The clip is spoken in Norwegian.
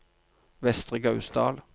Vestre Gausdal